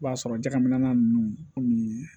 I b'a sɔrɔ jakɛminɛ ko nin